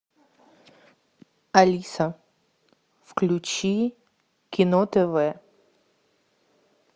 алиса включи кино тв